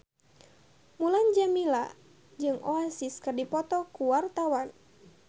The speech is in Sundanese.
Mulan Jameela jeung Oasis keur dipoto ku wartawan